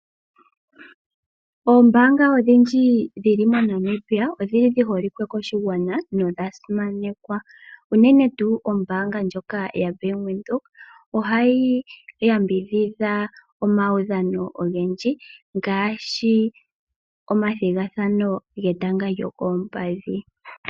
Oombaanga odhindji dhili moNamibia odhi holike koshigwana nodha simanekwa uunene tuu ombaanga ndjoka yaBank Windhoek ohayi yambidhidha omaudhano ogendji ngaashi omathigathano getanga lyokoompadhi.